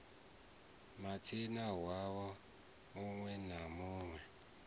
minista nwaha munwe na munwe